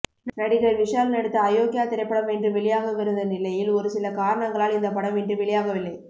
நடிகர் விஷால் நடித்த அயோக்யா திரைப்படம் இன்று வெளியாகவிருந்த நிலையில் ஒருசில காரணங்களால் இந்த படம் இன்று வெளியாகவில்லை